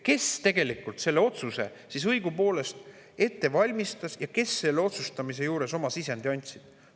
Kes tegelikult selle otsuse õigupoolest ette valmistas ja kes selle otsustamise juures oma sisendi andsid?